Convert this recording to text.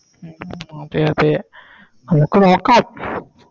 ഉം ഉം അതെ അതെ നമുക്ക് നോക്കാം